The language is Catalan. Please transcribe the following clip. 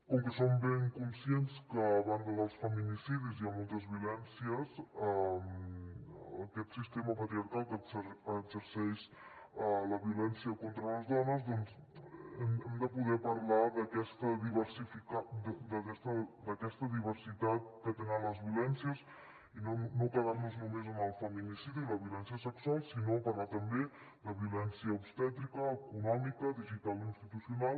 com que som ben conscients que a banda dels feminicidis hi ha moltes violències aquest sistema patriarcal que exerceix la violència contra les dones doncs hem de poder parlar d’aquesta diversitat que tenen les violències i no quedar nos només en el feminicidi o la violència sexual sinó parlar també de violència obstètrica econòmica digital o institucional